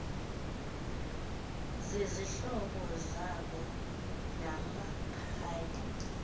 zizihlobo zabo namakhaya